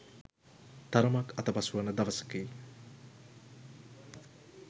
තරමක් අතපසුවන දවසකි.